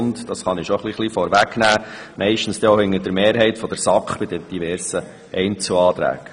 Ich kann auch vorwegnehmen, dass sie bei den diversen Einzelanträgen meistens hinter der Mehrheit der SAK steht.